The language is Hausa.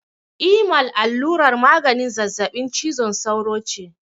Imal allurar maganin zazzaɓin cizon sauro ce.